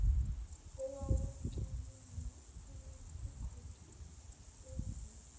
owawumncanyana unesigodi uzenza